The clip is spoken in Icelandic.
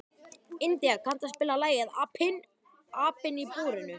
India, kanntu að spila lagið „Apinn í búrinu“?